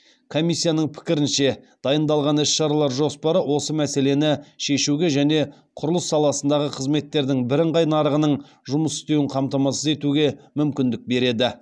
комиссияның пікірінше дайындалған іс шаралар жоспары осы мәселені шешуге және құрылыс саласындағы қызметтердің бірыңғай нарығының жұмыс істеуін қамтамасыз етуге мүмкіндік береді